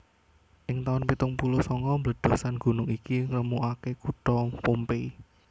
Ing taun pitung puluh sanga bledhosan gunung iki ngremukake kutha Pompeii